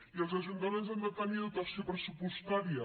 i els ajuntaments han de tenir dotació pressupostària